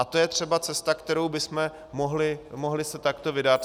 A to je třeba cesta, kterou bychom se mohli takto vydat.